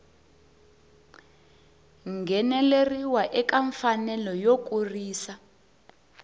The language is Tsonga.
ngheneleriwa ka mfanelo yo kurisa